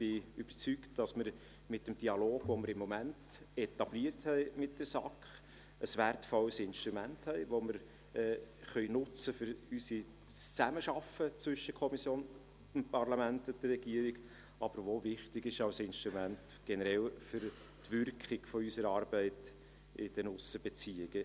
Ich bin überzeugt, dass wir mit dem Dialog, den wir im Moment mit der SAK etabliert haben, ein wertvolles Instrument haben, das wir für die Zusammenarbeit zwischen Kommission, Parlament und Regierung nutzen können, das aber auch generell wichtig ist als Instrument für die Wirkung unserer Arbeit in den Aussenbeziehungen.